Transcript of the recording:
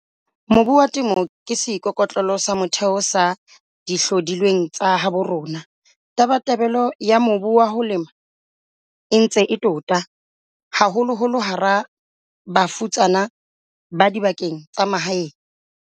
Mobu wa Temo ke seikoko tlelo sa motheo sa dihlodi lweng tsa habo rona. Tabatabelo ya mobu wa ho lema e ntse e tota, haholoholo hara bafutsana ba dibakeng tsa mahae.